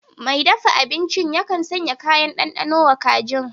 Mai dafa abincin yakan sanya kayan ɗanɗano wa kajin